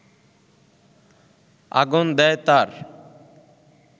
আগুন দেয় তার